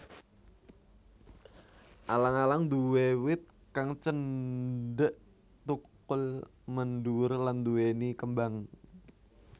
Alang alang nduwé wit kang cendhek thukul mendhuwur lan nduwèni kembang